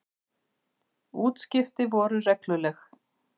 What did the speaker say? Útskipti voru regluleg.